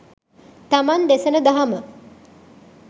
තමන් දෙසන දහම